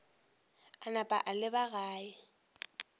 a napa a leba gae